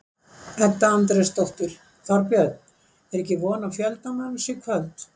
Edda Andrésdóttir: Þorbjörn, er ekki von á fjölda manns í kvöld?